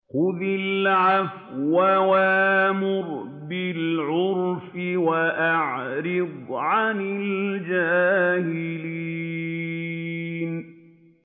خُذِ الْعَفْوَ وَأْمُرْ بِالْعُرْفِ وَأَعْرِضْ عَنِ الْجَاهِلِينَ